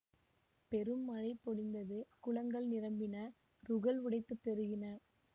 பெரும் மழை பொழிந்தது குளங்கள் நிரம்பின றுகள் உடைத்துப் பெருகின